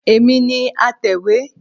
Èmi ni atẹ̀wé